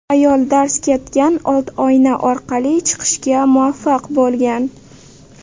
Ayol darz ketgan old oyna orqali chiqishga muvaffaq bo‘lgan.